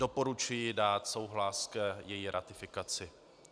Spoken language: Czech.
Doporučuji dát souhlas k její ratifikaci.